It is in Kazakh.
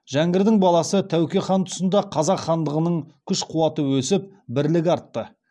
жәңгірдің баласы тәуке хан тұсында қазақ хандығының күш қуаты өсіп бірлігі артты